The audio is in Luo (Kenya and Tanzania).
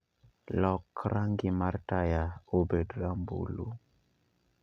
Lok rangi mar taya obed rambulu